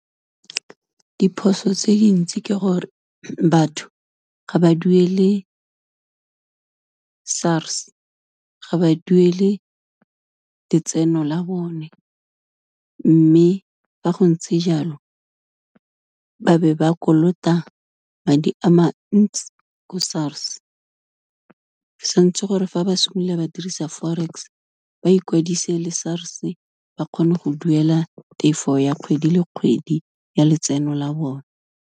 Diphoso tse dintsi ke gore batho ga ba duele SARS, ga ba duele letseno la bone, mme fa go ntse jalo, ba be ba kolota madi a ma ntsi ko SARS, santse gore fa ba simolola ba dirisa Forex ba ikwadise le SARS ba kgone go duela tefo ya kgwedi le kgwedi, ya letseno la bone.